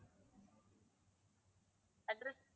address